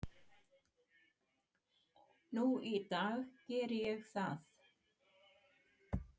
Nú í dag geri ég það.